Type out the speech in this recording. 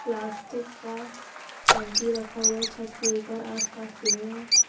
Plastic का टंकी रखा हुआ है छत के ऊपर आसपास पेड़ हैं।